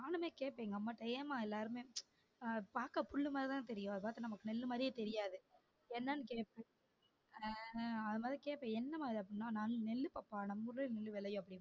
நானுமே கேட்டன் எங்க அம்மாட்ட ஏன்மா எல்லாருமே அஹ் பாக்க பில்லு மாதிரி தான் தெரியும் அதாவது நமக்கு நெல்லு மாதிரியே தெரியாது என்னனு அஹ் அதனால கேப்பன் என்னம்மா அது நெல்லு பாப்பா நம்ம ஊருலயும் நெல்லு விளையும்